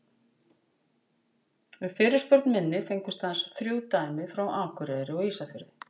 Við fyrirspurn minni fengust aðeins þrjú dæmi frá Akureyri og Ísafirði.